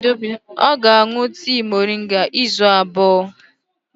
Ọ ga-aṅụ tii moringa ahụ izu abụọ.